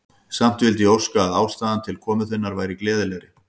Samt vildi ég óska, að ástæðan til komu þinnar væri gleðilegri.